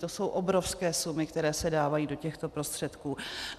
To jsou obrovské sumy, které se dávají do těchto prostředků.